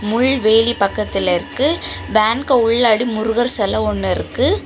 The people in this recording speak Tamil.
முள்வேலி பக்கத்துல இருக்கு வேனுக்கு உள்ளாடி முருகர் செல ஒன்னு இருக்கு.